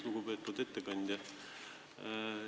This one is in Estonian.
Lugupeetud ettekandja!